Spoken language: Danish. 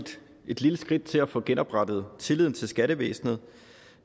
et lille skridt til at få genoprettet tilliden til skattevæsenet